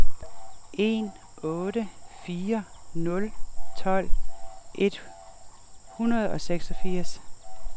en otte fire nul tolv et hundrede og seksogfirs